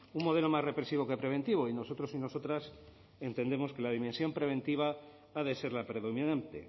un modelo más represivo que preventivo y nosotros y nosotras entendemos que la dimensión preventiva ha de ser la predominante